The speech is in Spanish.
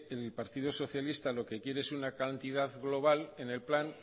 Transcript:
el partido socialista lo que quiere es una cantidad global en el plan